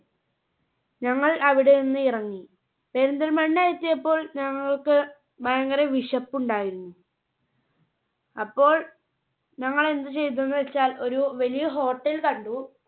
ഞങ്ങൾ അവിടെ നിന്ന് ഇറങ്ങി. പെരിന്തൽമണ്ണ എത്തിയപ്പോൾ ഞങ്ങൾക്ക് ഭയങ്കര വിശപ്പുണ്ടായിരുന്നു. അപ്പോൾ ഞങ്ങൾ എന്ത് ചെയ്തുന്ന് വെച്ചാൽ ഒരു വലിയ Hotel കണ്ടു.